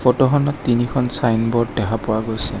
ফটোখনত তিনিখন ছাইনব'ৰ্ড দেখা পোৱা গৈছে।